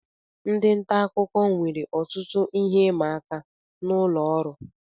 Ndị nta akụkọ nwere ọtụtụ ihe ịma aka n'ụlọ oru